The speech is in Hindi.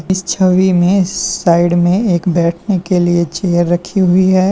इस छवि में साइड में एक बैठने के लिए चेयर रखी हुई है।